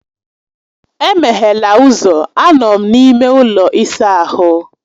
Emeghela ụzọ, anọ m n’ime ụlọ ịsa ahụ.